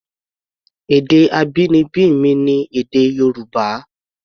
Èdè abínibí mi ni èdè Yorùbá.